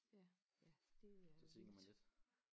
Ja ja det er jo vildt